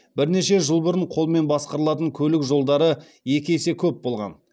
бірнеше жыл бұрын қолмен басқарылатын көлік жолдары екі есе көп болған